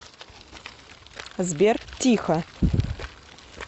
сбер тихо